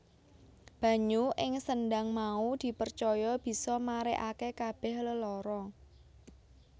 Banyu ing sendhang mau dipercaya bisa marèake kabèh lelara